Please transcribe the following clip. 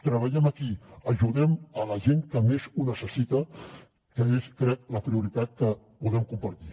treballem aquí ajudem a la gent que més ho necessita que és crec la prioritat que podem compartir